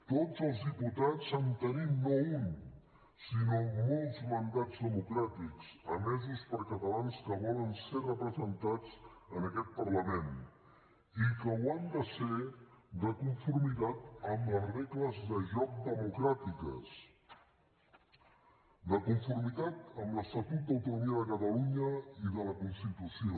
tots els diputats en tenim no un sinó molts mandats democràtics emesos per catalans que volen ser representats en aquest parlament i que ho han de ser de conformitat amb les regles de joc democràtiques de conformitat amb l’estatut d’autonomia de catalunya i de la constitució